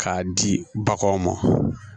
K'a di baganw ma